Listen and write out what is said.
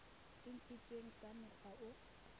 e ntshitsweng ka mokgwa o